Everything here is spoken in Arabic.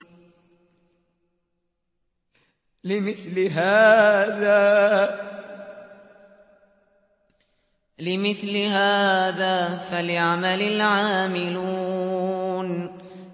لِمِثْلِ هَٰذَا فَلْيَعْمَلِ الْعَامِلُونَ